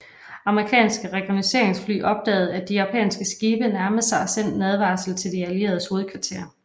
Amerikanske rekognosceringsfly opdagede at de japanske skibe nærmede sig og sendte en advarsel til de allieredes hovedkvarter